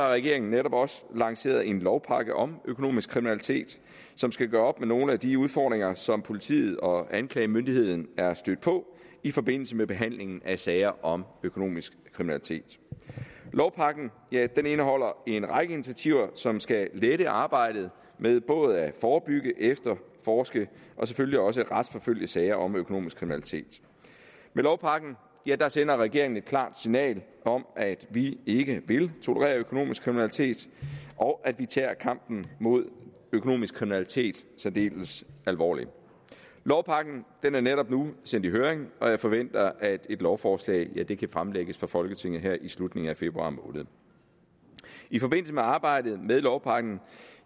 regeringen netop også lanceret en lovpakke om økonomisk kriminalitet som skal gøre op med nogle af de udfordringer som politiet og anklagemyndigheden er stødt på i forbindelse med behandlingen af sager om økonomisk kriminalitet lovpakken indeholder en række initiativer som skal lette arbejdet med både at forebygge efterforske og selvfølgelig også retsforfølge sager om økonomisk kriminalitet med lovpakken sender regeringen et klart signal om at vi ikke vil tolerere økonomisk kriminalitet og at vi tager kampen mod økonomisk kriminalitet særdeles alvorligt lovpakken er netop sendt i høring og jeg forventer at et lovforslag kan fremlægges for folketinget her i slutningen af februar måned i forbindelse med arbejdet med lovpakken